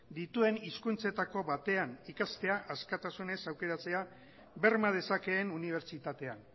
dituen hizkuntzetako batean ikastea askatasunez aukeratzea berma dezakeen unibertsitatean